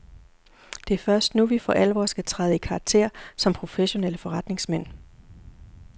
Det er først nu, vi for alvor skal træde i karakter som professionelle forretningsmænd.